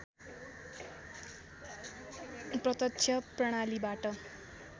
प्रत्यक्ष प्रणालीबाट